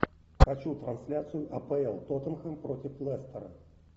хочу трансляцию апл тоттенхэм против лестера